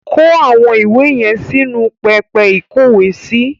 Kó àwọn ìwé yẹn sínu pẹpẹ ìkówèésí.